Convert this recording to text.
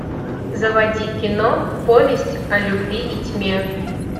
заводи кино повесть о любви и тьме